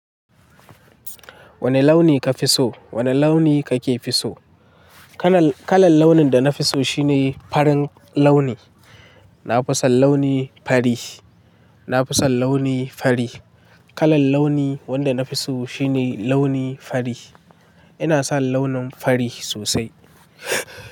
Wana launi kafi so? Wana launi kake fi so? Kalan launin da nafi so shine farin launi. Na fi son launi fari. Na fi son launi fari. Kalan launi wanda nafi so shine launi fari. Ina son launin fari sosai.